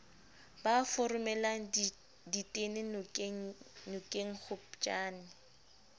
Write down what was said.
ba foromelang ditene nokengya kgopjane